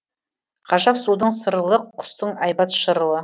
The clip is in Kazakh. ғажап судың сырылы құстың әйбат шырылы